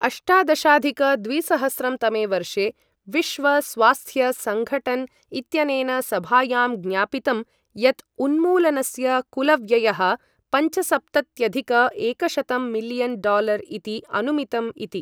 अष्टादशाधिक द्विसहस्रं तमे वर्षे विश्व स्वास्थ्य सङघटन् इत्यनेन सभायां ज्ञापितं यत् उन्मूलनस्य कुलव्ययः पञ्चसप्तत्यधिक एकशतं मिलियन् डालर इति अनुमितम् इति।